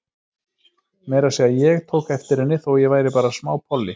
Meira að segja ég tók eftir henni, þó ég væri bara smápolli.